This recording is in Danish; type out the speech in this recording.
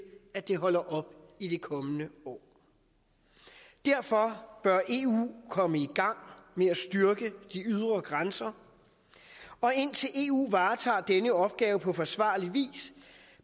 at det holder op i det kommende år derfor bør eu komme i gang med at styrke de ydre grænser og indtil eu varetager denne opgave på forsvarlig vis